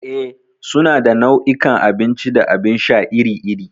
Eh, suna da nau'ikan abinci da abin sha iri-iri.